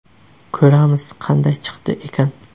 Ko‘ramiz qanday chiqdi ekan.